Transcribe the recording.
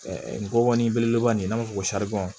Ɛɛ ngɔbɔnin belebeleba in n'a m'a fɔ ko